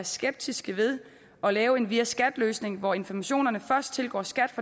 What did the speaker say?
skeptiske ved at lave en via skat løsning hvor informationerne først tilgår skat